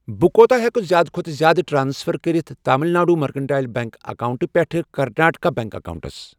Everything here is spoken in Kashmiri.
بہٕ کوٗتاہ ہٮ۪کہٕ زِیٛادٕ کھوتہٕ زِیٛادٕ ٹرانسفر کٔرِتھ تامِل ناڈو مٔرکنٹایِل بیٚنٛک اکاونٹہٕ پٮ۪ٹھٕ کرناٹکا بیٚنٛک اکاونٹَس۔